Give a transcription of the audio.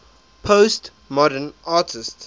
postmodern artists